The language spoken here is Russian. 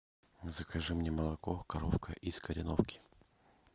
закажи мне молоко коровка из кореновки